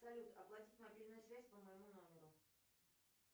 салют оплатить мобильную связь по моему номеру